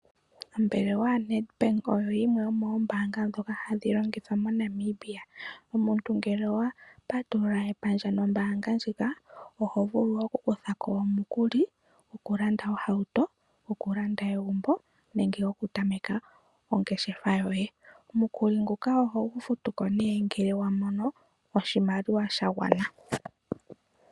Ombaanga yaNEDBANK oyo yimwe yomoombaanga ndhoka hadhi longithwa moNamibia. Omuntu ngele owa patulula epandja nombaanga ndjika oho vulu oku kutha ko omukuli, gokulanda ohauto, oku landa egumbo nenge goku tameka ongeshefa yoye. Omukuli nguka oho gu futu ko nee ngele wa mono oshimaliwa sha gwana.